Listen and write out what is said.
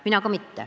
Mina ka mitte.